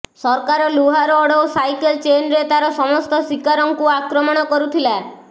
ସରକାର ଲୁହା ରଡ୍ ଓ ସାଇକେଲ୍ ଚେନ୍ରେ ତାର ସମସ୍ତ ଶିକାରଙ୍କୁ ଆକ୍ରମଣ କରୁଥିଲା